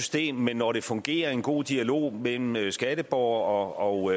system med når det fungerer en god dialog mellem mellem skatteborgerne og